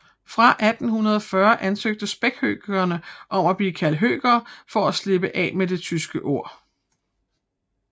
Fra 1840 ansøgte spækhøkerne om at blive kaldt høker for at slippe af med det tyske ord